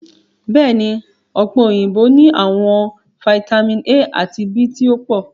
Bẹẹni, ọpe oyinbo ni awọn fitamin A ati B ti o po